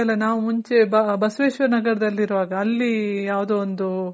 ಅಲ್ಲ ನಾವ್ ಮುಂಚೆ ಬಸವೇಶ್ವರ ನಗರದಲ್ಲಿ ಇರೋವಾಗ ಅಲ್ಲಿ ಯಾವ್ದೋ ಒಂದು